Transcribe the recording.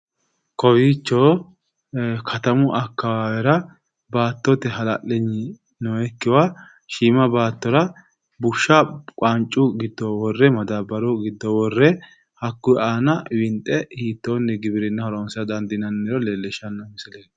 Kowiicho katamu akawaawera baatote hala'liyni noyikkiwa shiima baatora bushsha qaancu giddo worre madaabaru giddo worre hakkuyi aana winxe hiitoonni giwirinna horoonsira dandiinanniro leelishshanno misileeti